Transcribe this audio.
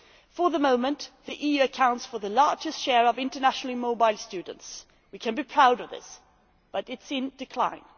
For the moment, the EU accounts for the largest share of internationally mobile students we can be proud of this but it is in decline.